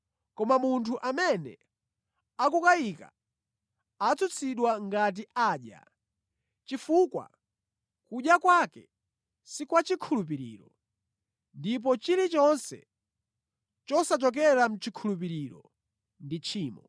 Koma munthu amene akukayika atsutsidwa ngati adya, chifukwa kudya kwake si kwa chikhulupiriro; ndipo chilichonse chosachokera mʼchikhulupiriro ndi tchimo.